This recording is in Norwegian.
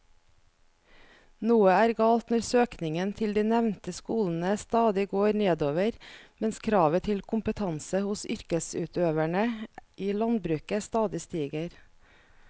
Noe er galt når søkningen til de nevnte skolene stadig går nedover mens kravet til kompetanse hos yrkesutøverne i landbruket stadig stiger.